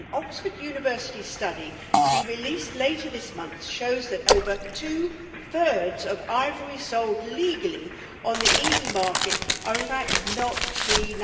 An Oxford University study to be released later this month shows that over two thirds of ivory sold legally on the EU market is in fact not pre